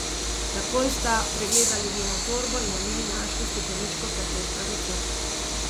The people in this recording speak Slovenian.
Takoj sta pregledali njeno torbo in v njej našli stekleničko tablet na recept.